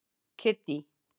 Kiddý